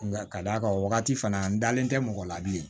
Nka ka d'a ka wagati fana n dalen tɛ mɔgɔ la bilen